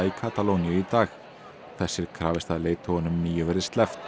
í Katalóníu í dag þess er krafist að leiðtogunum níu verði sleppt